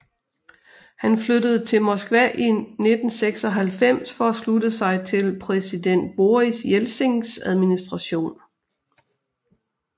Han flyttede til Moskva i 1996 for at slutte sig til præsident Boris Jeltsins administration